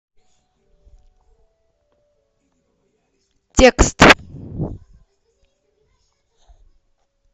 текст